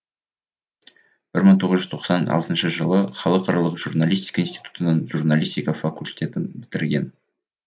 бір мың тоғыз жүз тоқсан алтыншы жылы халықаралық журналистика институтының журналистика факультетін бітірген